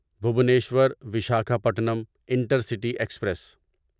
Bhubaneswar Visakhapatnam intercity express